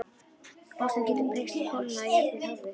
Ástin getur breyst, kólnað, jafnvel horfið.